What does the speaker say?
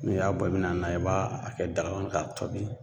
N'i y'a bɔ i bi na n'a i b'a a kɛ daga kɔnɔ k'a tɔbi